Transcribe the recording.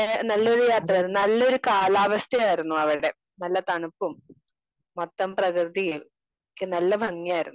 Speaker 2 നല്ലൊരെ യാത്രയായിരുന്നു. നല്ലൊരു കാലാവസ്ഥയായിരുന്നു അവിടെ നല്ല തണുപ്പും മൊത്തം പ്രകൃതിയും ഒക്കെ നല്ല ഭംഗിയായിരുന്നു.